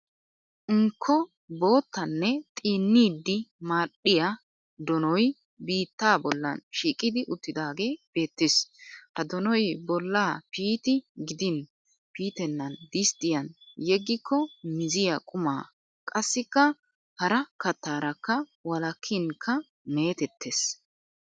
Unkko boottanne xiinnidi madhdhiya donoy biitta bollan shiiqi uttidaagee beettes. Ha donoy bollaa piiti gidin piitennan disttiyan yeggikko miziya quma qassikka hara kattaarakka wolakkinkka meetettes.